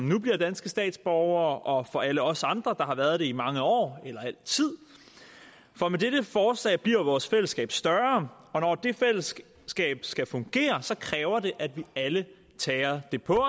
nu bliver danske statsborgere og for alle os andre der har været det i mange år eller altid for med dette forslag bliver vores fællesskab større og når det fællesskab skal skal fungere kræver det at vi alle tager det på